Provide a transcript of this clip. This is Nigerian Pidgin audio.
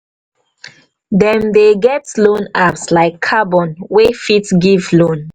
dem dey get loan apps like carbon wey fit give loan